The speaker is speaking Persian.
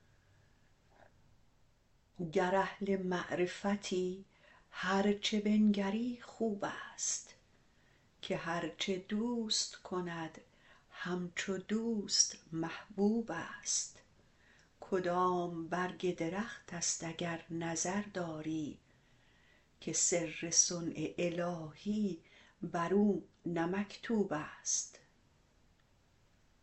گر اهل معرفتی هر چه بنگری خوبست که هر چه دوست کند همچو دوست محبوبست کدام برگ درختست اگر نظر داری که سر صنع الهی برو نه مکتوبست